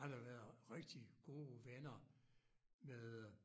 Han havde været rigtig gode venner med øh